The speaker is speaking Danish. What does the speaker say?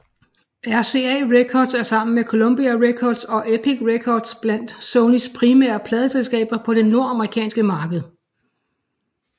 RCA Records er sammen med Columbia Records og Epic Records blandt Sonys primære pladeselskaber på det nordamerikanske marked